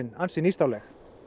ansi nýstárleg